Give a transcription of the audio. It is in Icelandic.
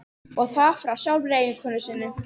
Og það frá sjálfri eiginkonu sinni.